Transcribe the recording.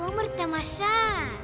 өмір тамаша